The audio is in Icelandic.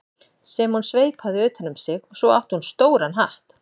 sem hún sveipaði utan um sig og svo átti hún stóran hatt.